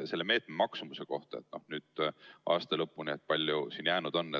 Kui palju see meede nüüd aasta lõpuni, nii palju kui seda jäänud on,